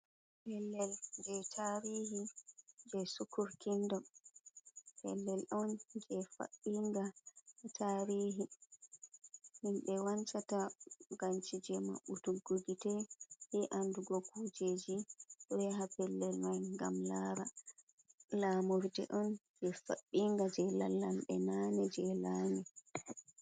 Pellel je tarihi je sukurkindo pellel on je fabɓinga tarihi himɓe wancata gancije maɓɓutuggu gite. Be andugo kujeji ɗo yaha pellel man gam lara, lamurde onje faɓɓinga je lallamɓe nane je lami.